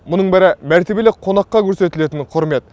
мұның бәрі мәртебелі қонаққа көрсетілетін құрмет